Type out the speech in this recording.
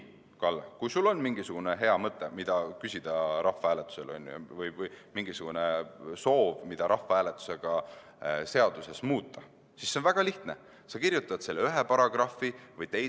Kalle, kui sul on mingisugune hea mõtte, mida rahvahääletusel küsida, või mingisugune soov, mida rahvahääletusega seaduses muuta, siis selle on väga lihtne.